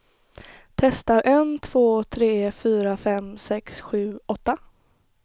Testar en två tre fyra fem sex sju åtta.